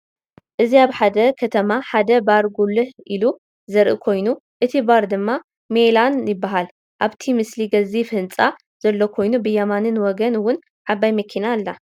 እዚ አብ ሓደ ከተማ ሓደ ባር ጉልህ ኢሉ ዘርኢ ኮይኑ እቲ ባር ድማ ሜላን ይበሃል፡፡ አብቲ ምስሊ ገዚፍ ህንፃ ዘሎ ኮይኑ ብየማን ወገን እውን ዓባይ መኪና አላ፡፡